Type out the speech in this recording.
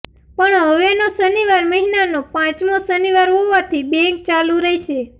પણ હવેનો શનિવાર મહિનાનો પાંચમો શનિવાર હોવાથી બેંક ચાલુ રહેશે